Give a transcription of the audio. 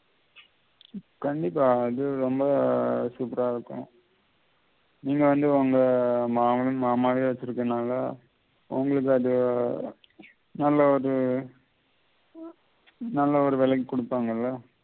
கண்டிப்பா இது ரொம்ப super அ இருக்கும் நீங்க வந்து உங்க மாமா கிட்ட திரும்ப நல்லா உங்களுக்கு அத நல்ல ஒரு விலைக்கு குடுப்பாங்கள்ல